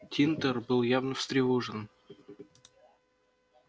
тинтер был явно встревожен